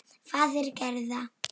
Faðir Gerðar.